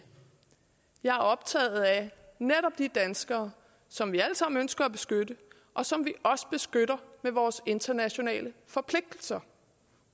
jeg er optaget af netop de danskere som vi alle sammen ønsker at beskytte og som vi også beskytter med vores internationale forpligtelser